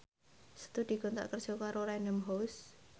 Setu dikontrak kerja karo Random House